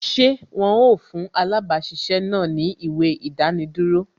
Ṣé wọn ó fún alabasisẹ́ náà ni ìwé idaniduro